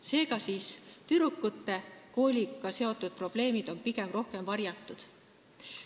Seega, tüdrukute kooliga seotud probleemid on pigem rohkem varjatud.